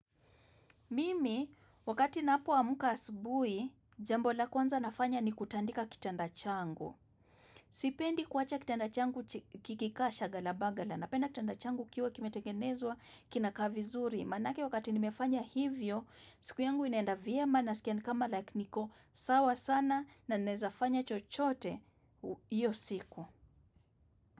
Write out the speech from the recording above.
Mimi, wakati napo amka asubui, jambo la kwanza nafanya ni kutandika kitanda changu. Sipendi kuwacha kitanda changu kikika shagala bagala. Napenda kitanda changu kiwe kimetengenezwa kinakaa vizuri. Manake wakati nimefanya hivyo, siku yangu inaenda vyema na skia kama like niko sawa sana na naeza fanya chochote iyo siku.